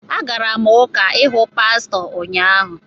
Agara m Ụka ịhụ pastọ ụnyaahụ